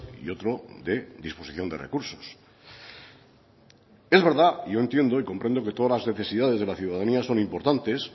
y otro de disposición de recursos es verdad y yo entiendo y comprendo que todas las necesidades de la ciudadanía son importantes